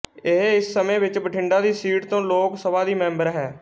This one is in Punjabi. ਇਹ ਇਸ ਸਮੇਂ ਵਿੱਚ ਬਠਿੰਡਾ ਦੀ ਸੀਟ ਤੋਂ ਲੋਕ ਸਭਾ ਦੀ ਮੈਂਬਰ ਹੈ